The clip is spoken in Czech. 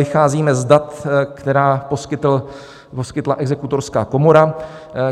Vycházíme z dat, která poskytla Exekutorská komora,